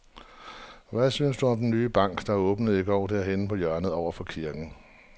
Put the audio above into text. Hvad synes du om den nye bank, der åbnede i går dernede på hjørnet over for kirken?